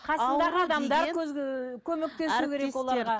қасындағы адамдар көмектесу керек оларға